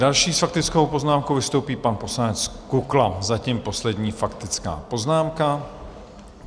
Další s faktickou poznámkou vystoupí pan poslanec Kukla, zatím poslední faktická poznámka.